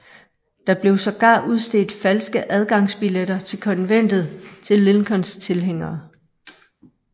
Der blev sågar udstedt falske adgangsbilletter til konventet til Lincolns tilhængere